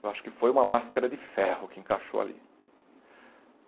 Eu acho que foi uma máscara de ferro que encaixou ali.